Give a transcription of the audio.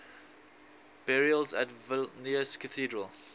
burials at vilnius cathedral